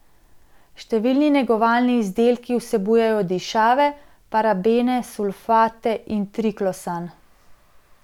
Številni negovalni izdelki vsebujejo dišave, parabene, sulfate in triklosan.